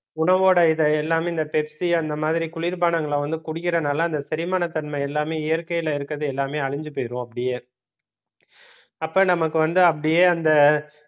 உணவோட இதை எல்லாமே இந்த பெப்ஸி அந்த மாதிரி குளிர்பானங்களை வந்து குடிக்கிறதுனால அந்த செரிமான தன்மை எல்லாமே இயற்கையில இருக்கிறது எல்லாமே அழிஞ்சு போயிரும் அப்படியே அப்ப நமக்கு வந்து அப்படியே அந்த